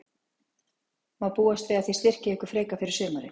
Má búast við að þið styrkið ykkur frekar fyrir sumarið?